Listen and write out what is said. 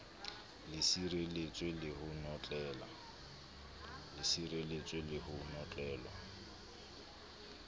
le sireletswe le ho notlellwa